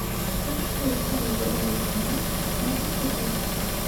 открой кино вероника марс пятый сезон